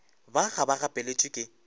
ba ga ba gapeletšwe ke